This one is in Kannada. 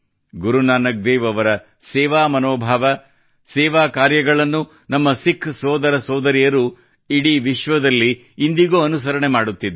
ಗುರು ನಾನಕ್ ದೇವ್ ಅವರ ಸೇವಾ ಮನೋಭಾವ ಸೇವಾ ಕಾರ್ಯಗಳನ್ನು ನಮ್ಮ ಸಿಖ್ ಸೋದರಸೋದರಿಯರು ಇಡೀ ವಿಶ್ವದಲ್ಲಿ ಇಂದಿಗೂ ಅನುಸರಣೆ ಮಾಡುತ್ತಿದ್ದಾರೆ